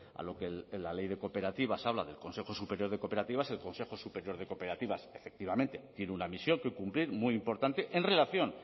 a lo que la ley de cooperativas habla del consejo superior de cooperativas el consejo superior de cooperativas efectivamente tiene una misión que cumplir muy importante en relación